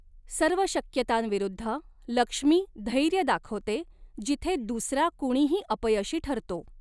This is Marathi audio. सर्व शक्यतांविरुद्ध, लक्ष्मी धैर्य दाखवते, जिथे दूसरा कुणीही अपयशी ठरतो.